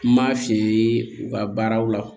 N m'a fiyɛ u ka baaraw la